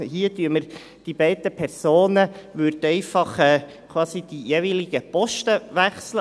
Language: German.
Hier würden die jeweiligen Personen einfach quasi die jeweiligen Posten wechseln.